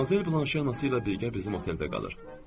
Madmazel Blanşe anası ilə birgə bizim oteldə qalır.